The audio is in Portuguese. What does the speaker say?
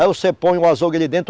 Aí você põe o azougue ali dentro.